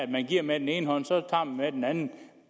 man giver med den ene hånd og tager med den anden